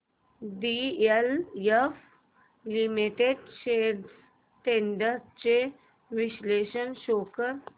DLF limited shares trends चे विश्लेषण show कर